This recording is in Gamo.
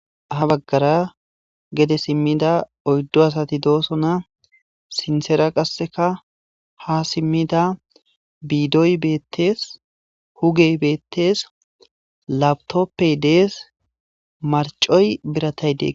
Ha baggara gede simmida oyddu asati doosona sinththera qasseka ha simmida biidoy beettees hugey beettees laptopey dees marccoy biratay de